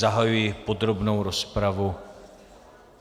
Zahajuji podrobnou rozpravu.